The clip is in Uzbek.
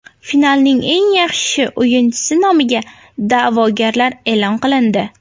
Finalning eng yaxshi o‘yinchisi nomiga da’vogarlar e’lon qilindi.